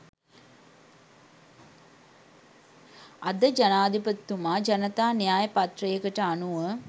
අද ජනාධිපතිතුමා ජනතා න්‍යාය පත්‍රයකට අනුව